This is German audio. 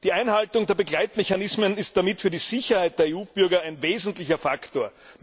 Die Einhaltung der Begleitmechanismen ist damit für die Sicherheit der EU Bürger ein wesentlicher Faktor.